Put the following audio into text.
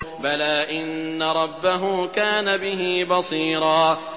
بَلَىٰ إِنَّ رَبَّهُ كَانَ بِهِ بَصِيرًا